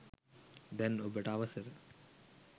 දැන් ඔබට අවසර